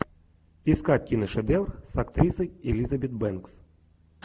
искать киношедевр с актрисой элизабет бэнкс